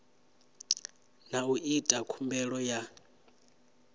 na u ita khumbelo ya